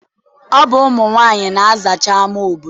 Ọ bụ ụmụ nwaanyị na-azacha ama obodo.